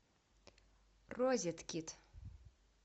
розеткед